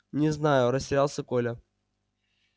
не знаю растерялся коля